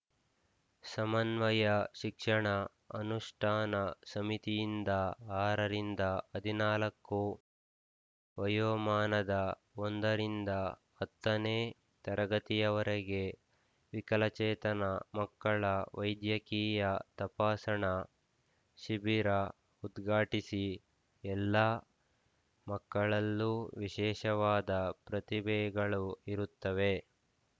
ಸಮನ್ವಯ ಶಿಕ್ಷಣ ಅನುಷ್ಠಾನ ಸಮಿತಿಯಿಂದ ಆರ ರಿಂದ ಹದಿನಾಲಕು ವಯೋಮಾನದ ಒಂದ ರಿಂದ ಹತ್ತನೇ ತರಗತಿಯವರೆಗೆ ವಿಕಲಚೇತನ ಮಕ್ಕಳ ವೈದ್ಯಕೀಯ ತಪಾಸಣಾ ಶಿಬಿರ ಉದ್ಘಾಟಿಸಿ ಎಲ್ಲ ಮಕ್ಕಳಲ್ಲೂ ವಿಶೇಷವಾದ ಪ್ರತಿಭೆಗಳು ಇರುತ್ತವೆ